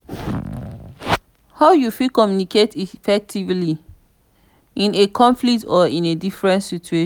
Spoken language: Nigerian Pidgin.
how you fit communicate effectively in a conflict or in a difficult situation?